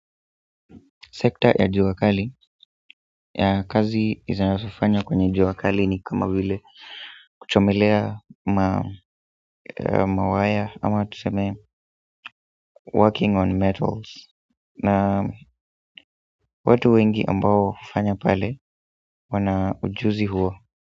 Sekta ya jua kali ya kazi zinazofanywa kwenye jua kali ni kama vile kuchomelea mawaya ama tuseme working on metals na watu wengi ambao hufanya pale wana ujuzi huwa.